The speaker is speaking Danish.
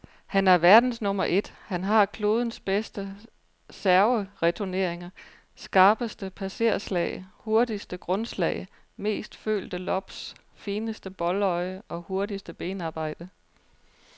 Han er verdens nummer et, han har klodens bedste servereturneringer, skarpeste passerslag, hurtigste grundslag, mest følte lobs, fineste boldøje og hurtigste benarbejde.